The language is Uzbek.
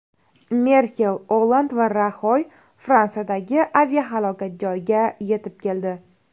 Merkel, Olland va Raxoy Fransiyadagi aviahalokat joyiga yetib keldi.